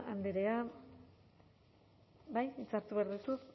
andrea bai hitza hartu behar duzu